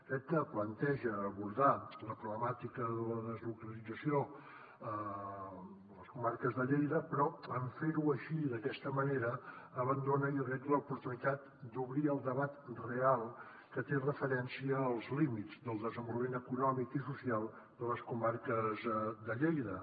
crec que planteja abordar la problemàtica de la deslocalització a les comarques de lleida però en fer ho així d’aquesta manera abandona jo crec l’oportunitat d’obrir el debat real que té amb referència als límits del desenvolupament econòmic i social de les comarques de lleida